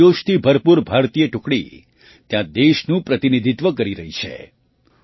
યુવાન જોશથી ભરપૂર ભારતીય ટુકડી ત્યાં દેશનું પ્રતિનિધિત્વ કરી રહી છે